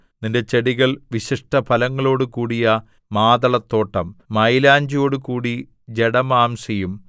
നിന്റെ ചെടികൾ വിശിഷ്ടഫലങ്ങളോടു കൂടിയ മാതളത്തോട്ടം മയിലാഞ്ചിയോടുകൂടി ജടാമാംസിയും